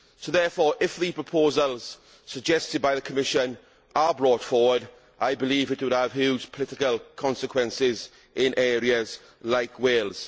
Therefore, if the proposals suggested by the Commission are brought forward, I believe it would have huge political consequences in areas like Wales.